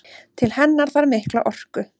Til hennar þarf mikla orku.